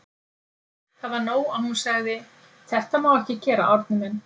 Það var nóg að hún segði: Þetta má ekki gera, Árni minn.